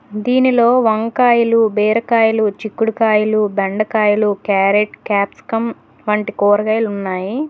దీనిలో వంకాయలు బీరకాయలు చిక్కుడుకాయలు బెండకాయలు క్యారెట్ క్యాప్సికం వంటి కూరగాయలు ఉన్నాయి.